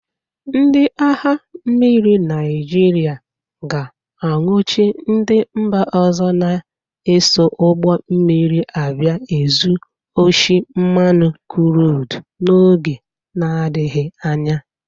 Ndị agha mmiri Naịjịrịa ga-anwụchi ndị mba ọzọ na-eso ụgbọ mmiri abịa ezu oshi mmanụ krud n'oge nadịghị anya.